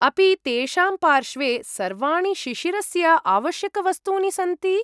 अपि तेषां पार्श्वे सर्वाणि शिशिरस्य आवश्यकवस्तूनि सन्ति?